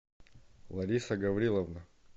лариса гавриловна